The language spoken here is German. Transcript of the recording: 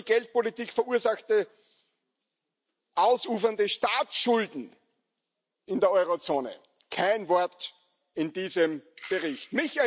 Die durch die Geldpolitik verursachten ausufernden Staatsschulden in der Eurozone kein Wort in diesem Bericht.